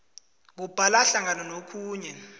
kubala hlangana nokhunye